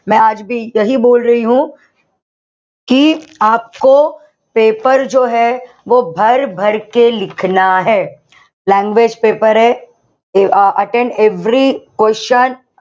paper langage paper attempt every question.